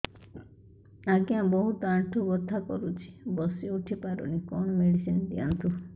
ଆଜ୍ଞା ବହୁତ ଆଣ୍ଠୁ ବଥା କରୁଛି ବସି ଉଠି ପାରୁନି କଣ ମେଡ଼ିସିନ ଦିଅନ୍ତୁ